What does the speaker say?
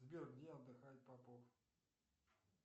сбер где отдыхает попов